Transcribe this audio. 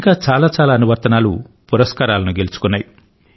ఇంకా చాలా అనువర్తనాలు పురస్కారాలను గెలుచుకున్నాయి